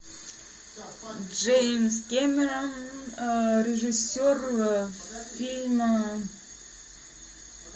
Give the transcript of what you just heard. джеймс кэмерон режиссер фильма